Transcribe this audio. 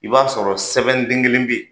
I b'a sɔrɔ sɛbɛnden kelen bɛ yen